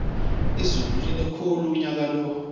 izulu line khulu unyakalo